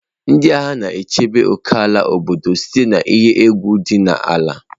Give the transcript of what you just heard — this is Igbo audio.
Ndị agha na-echebe ókèala obodo site na iyi egwu dị n'ala.